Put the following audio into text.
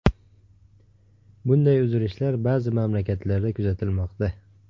Bunday uzilishlar ba’zi mamlakatlarda kuzatilmoqda.